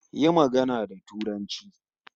Yi magana da Turanci